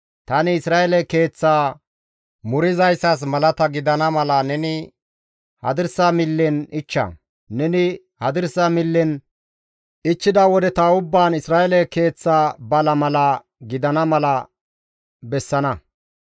«Tani Isra7eele keeththaa murizayssas malata gidana mala neni hadirsa millen ichcha; neni hadirsa millen ichchida wodeta ubbaan Isra7eele keeththa bala mala gidana mala bessana.